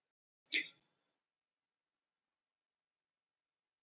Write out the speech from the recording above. """Lena, Viðar og-"""